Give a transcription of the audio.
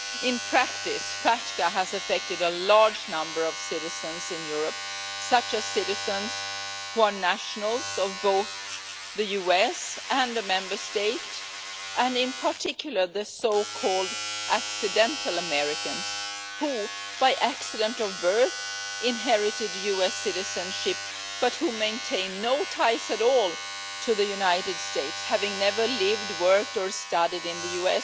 In practice, FATCA has affected a large number of citizens in Europe, such as citizens who are nationals of both the USA and an EU Member State and, in particular, the so-called accidental Americans' who, by accident of birth, inherited US citizenship but who maintain no ties at all to the USA, never having lived, worked or studied there,